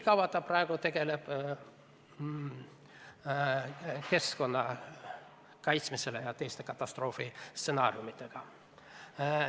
Aga praegu tegeleb ta keskkonna kaitsmise ja teiste katastroofistsenaariumidega.